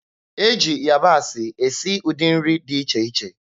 E ji yabasị esi ụdị nri dị iche iche.